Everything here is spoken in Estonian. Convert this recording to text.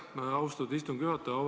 Aitäh, austatud istungi juhataja!